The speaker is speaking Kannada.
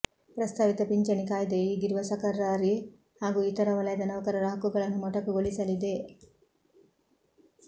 ಪ್ರಸ್ತಾವಿತ ಪಿಂಚಣಿ ಕಾಯ್ದೆಯು ಈಗಿರುವ ಸಕರ್ಾರಿ ಹಾಗೂ ಇತರ ವಲಯದ ನೌಕರರ ಹಕ್ಕುಗಳನ್ನು ಮೊಟಕುಗೊಳಿಸಲಿದೆ